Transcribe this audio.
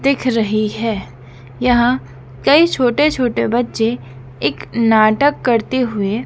दिख रही है यहां कई छोटे छोटे बच्चे एक नाटक करते हुए--